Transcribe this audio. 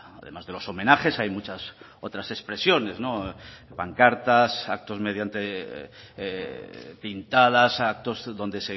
además de los homenajes hay muchas otras expresiones pancartas actos mediante pintadas actos donde